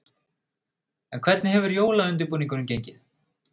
En hvernig hefur jólaundirbúningurinn gengið?